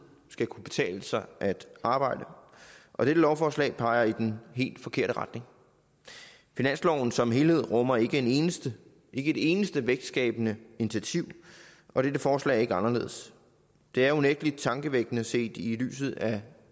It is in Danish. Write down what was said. skal kunne betale sig at arbejde og dette lovforslag peger i den helt forkerte retning finansloven som helhed rummer ikke et eneste eneste vækstskabende initiativ og dette forslag er ikke anderledes det er unægtelig tankevækkende set i lyset af